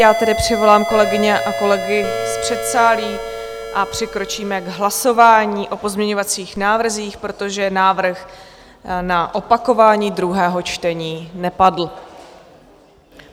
Já tedy přivolám kolegyně a kolegy z předsálí a přikročíme k hlasování o pozměňovacích návrzích, protože návrh na opakování druhého čtení nepadl.